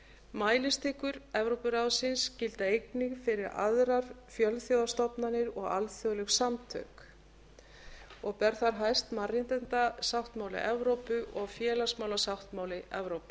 mælistikur evrópuráðsins gilda einnig fyrir aðrar fjölþjóðastofnanir og alþjóðleg samtök og ber þar hæst mannréttindasáttmála evrópu og félagsmálasáttmála evrópu